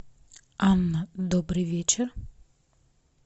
анна добрый вечер